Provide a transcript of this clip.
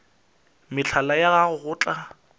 mehlala ya gago go tla